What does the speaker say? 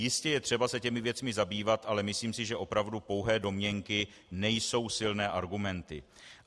Jistě je třeba se těmi věcmi zabývat, ale myslím si, že opravdu pouhé domněnky nejsou silné argumenty.